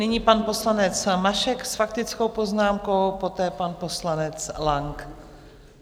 Nyní pan poslanec Mašek s faktickou poznámkou, poté pan poslanec Lang.